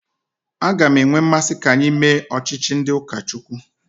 A ga m enwe mmasị ka anyị mee ọchịchị ndị ụka Chukwu.